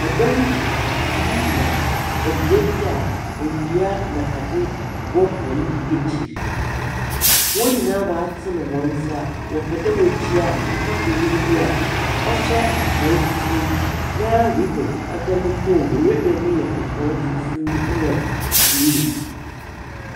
Ɛdɔm bi gyina ɛbea bi a endua na adze wɔ wɔn akyiri. Wɔnyinaa waatene wɔn nsa wɔpɛ dɛ wɔkyea papa panyin bi a ɔhyɛ atare fufuo na reben ɛda ne kɔn mu. Reben ne yɛ kɔkɔɔ fufuo na bluu.